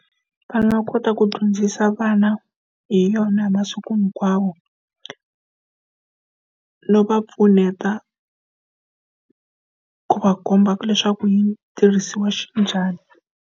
Va nga kota ku dyondzisa vana hi yona hi masiku hinkwawo lo va pfuneta ku va kombaka leswaku yi tirhisiwa xi njhani.